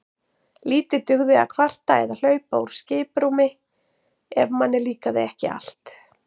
Lítið dugði að kvarta eða hlaupa úr skiprúmi ef manni líkaði ekki allt.